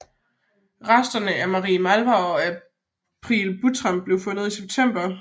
Resterne af Marie Malvar og April Buttram blev fundet i september